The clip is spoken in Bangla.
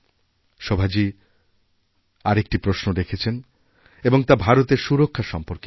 শোভাজী আর একটি প্রশ্ন রেখেছেন এবং তা ভারতের সুরক্ষা সম্পর্কিত